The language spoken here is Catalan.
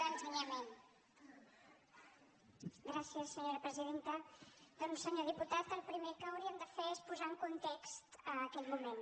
doncs senyor diputat el primer que hauríem de fer es posar en context aquell moment